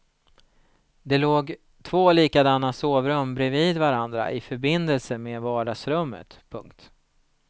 Det låg två likadana sovrum bredvid varandra i förbindelse med vardagsrummet. punkt